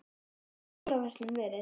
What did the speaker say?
Hvernig hefur jólaverslunin verið?